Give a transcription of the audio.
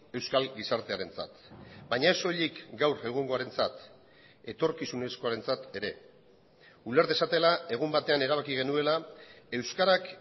euskal gizartearentzat baina ez soilik gaur egungoarentzat etorkizunezkoarentzat ere uler dezatela egun batean erabaki genuela euskarak